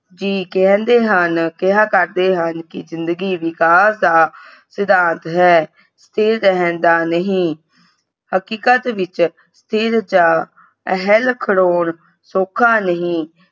ਜੀ ਕਹਿੰਦੇ ਹਨ ਕਿਹਾ ਕਰਦੇ ਹਨ ਕਿ ਜਿੰਦਗੀ ਵਿਕਾਸ ਦਾ ਸਿਧਾਂਤ ਹੈ ਸਥਿਰ ਰਹਿਣ ਦਾ ਨਹੀਂ। ਹਕੀਕਤ ਵਿਚ ਸਥਿਰਤਾ ਅਹਿਲ ਖੜੋਣ ਸੌਖਾ ਨਹੀਂ